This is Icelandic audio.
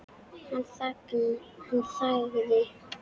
Hann þagði.